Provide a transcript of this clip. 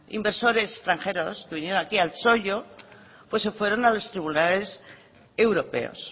inversores extranjeros que vinieron aquí al chollo pues se fueron a los tribunales europeos